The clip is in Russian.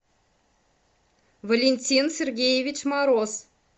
валентин сергеевич мороз